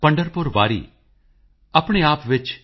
ਰੈਦਾਸ ਮਨੁਸ਼ ਨਾ ਜੁੜ ਸਕੇ